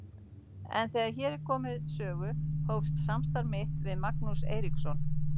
En þegar hér er komið sögu hófst samstarf mitt við Magnús Eiríksson.